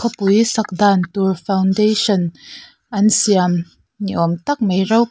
khawpui sak dan tur foundation an siam ni awm tak mai ro--